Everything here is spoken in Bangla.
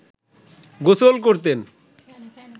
গোসল করতেন